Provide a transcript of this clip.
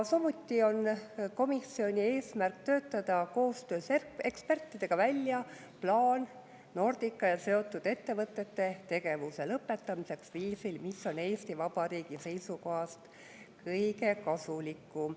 Samuti on komisjoni eesmärk töötada koostöös ekspertidega välja plaan Nordica ja seotud ettevõtete tegevuse lõpetamiseks viisil, mis on Eesti Vabariigi seisukohast kõige kasulikum.